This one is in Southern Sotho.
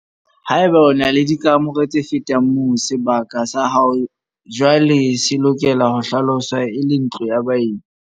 Haeba o na le dikamore tse fetang moo, sebaka sa hao jwaale se lokela ho hlaloswa e le ntlo ya baeti.